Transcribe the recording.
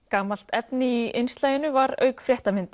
gamalt efni í var auk